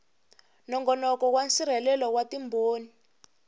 nongonoko wa nsirhelelo wa timbhoni